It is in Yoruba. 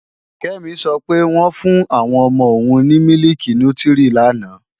Kẹ́mi sọ pé, wọ́n fún àwọn ọmọ òun ní mílìkì nútírí lánàá